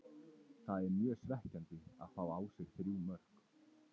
Það er mjög svekkjandi að fá á sig þrjú mörk.